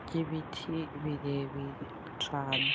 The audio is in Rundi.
ry’ibiti birebire cane